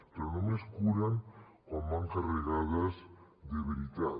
però només curen quan van carregades de veritat